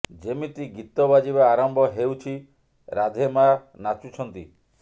ଯେମିତି ଗୀତ ବାଜିବା ଆରମ୍ଭ ହେଉଛି ରାଧେ ମା ନାଚୁଛନ୍ତି